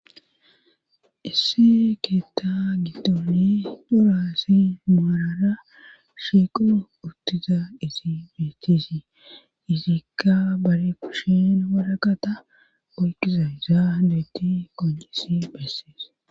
issi keetta giddooni daro aassay maarara shiiqo uttiza izi beechisi izikka bare kushin waraqata oyqiza zaaysa qoncisi bassees